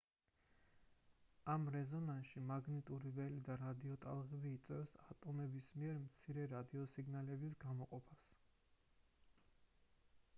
ამ რეზონანსში მაგნიტური ველი და რადიოტალღები იწვევს ატომების მიერ მცირე რადიოსიგნალების გამოყოფას